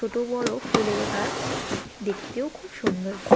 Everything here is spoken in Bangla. ছোটো বড়ো ফুলের গাছ দেখতেও খুব সুন্দর।।